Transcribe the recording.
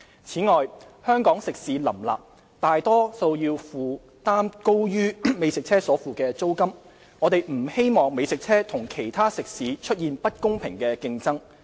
此外，香港食肆林立，大多數要負擔遠高於美食車所付的租金，我們不希望美食車與其他食肆出現不公平的競爭。